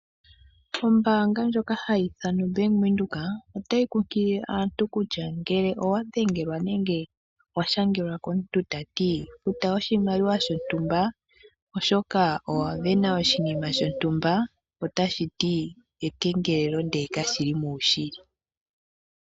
Ombaanga yobank Windhoek otayi kunkilile aantu kutya ngele owadhengelwa nengè washangelwa komuntu tati futà oshimaliwa shontumba, oshoka owa sindana oshimaliwa shontumba otashi ekengelelo.